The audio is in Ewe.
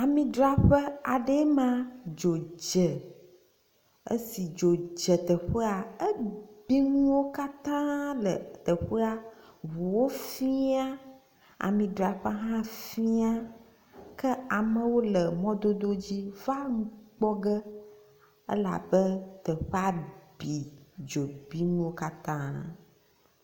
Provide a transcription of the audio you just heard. Amidzraƒe aɖee ma dzo dze esi dzo dze teƒea ebi nuwo katã le teƒea, ŋuwo fia, amidzraƒea hã fia ke amewo le mɔdododzi va nu kpɔ ge elabe teƒea bi dzo bi nuwo katã nam.